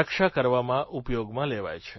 રક્ષા કરવામાં ઉપયોગમાં લેવાય છે